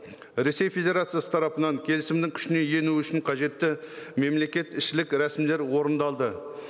ресей федерациясы тарапынан келісімнің күшіне ену үшін қажетті мемлекетішілік рәсімдер орындалды